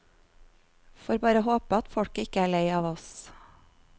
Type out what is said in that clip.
Får bare håpe at folket ikke er lei av oss.